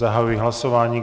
Zahajuji hlasování.